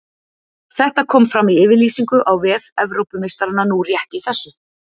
Þetta kom fram í yfirlýsingu á vef Evrópumeistaranna nú rétt í þessu.